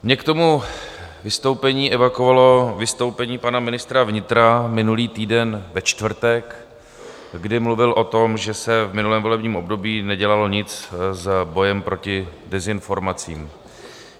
Mě k tomu vystoupení evakuovalo vystoupení pana ministra vnitra minulý týden ve čtvrtek, kdy mluvil o tom, že se v minulém volebním období nedělalo nic s bojem proti dezinformacím.